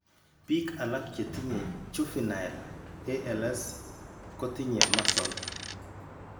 Biik alak chetinye juvinle ALS, kotinye muscle